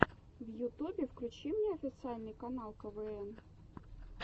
в ютубе включи мне официальный канал квн